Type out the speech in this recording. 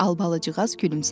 Albalıcığaz gülümsədi.